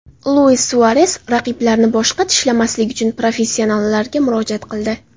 Luis Suares raqiblarni boshqa tishlamaslik uchun professionallarga murojaat qildi.